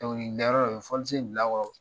Dɔnku, ni bɛ yɔrɔ o yɔrɔ , fɔlisen in bila kɔɔrɔ